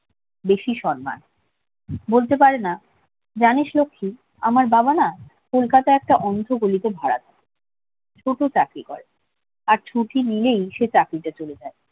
বেশি সম্মান বলতে পারেনা লক্ষী আমার বাবা না কলকাতা একটা গলিতে ভাড়া থাকে ছোট চাকরি করে আর ছুটি নিলেই সেই চাকরিটা চলে যাবে